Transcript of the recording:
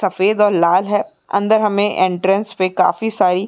सफ़ेद और लाल है अंदर हमे एंट्रेंस पे काफी सारी --